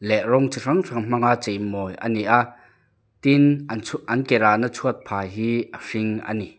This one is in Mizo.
leh rawng chi hrang hrang hmanga chei mawi a ni a tin an chhu an ke rahna chhuatphah hi a hring a ni.